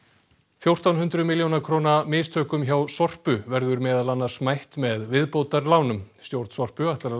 fjórtán hundruð milljóna króna mistökum hjá byggðasamlaginu Sorpu verður meðal annars mætt með viðbótarlánum stjórn Sorpu ætlar að